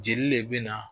Jeli le bɛ na